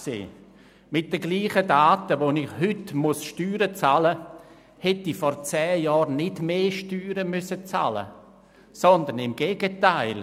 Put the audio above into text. Mit denselben Daten, aufgrund derer ich heute die Steuern bezahlen muss, hätte ich vor zehn Jahren nicht mehr Steuern bezahlen müssen, sondern im Gegenteil: